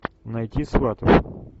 найти сватов